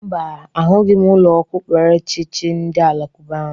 Mba, ahụghị m ụlọ okpukperechi chi ndị alakuba ahụ.